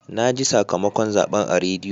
Na ji sakamakon zaɓen a rediyo.